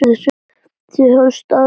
Þið hafið staðið ykkur vel.